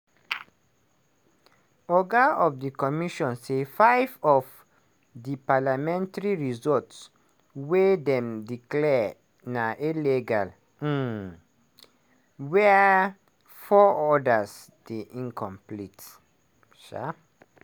oga of di commission say five of di parliamentary results wia dem declare na "illegal" um wia four odas dey incomplete. um